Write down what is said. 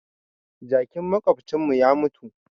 Jakin maƙwabcin mu ya mutu